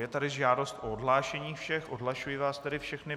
Je tady žádost o odhlášení všech, odhlašuji vás tedy všechny.